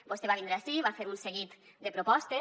vostè va vindre ací va fer un seguit de propostes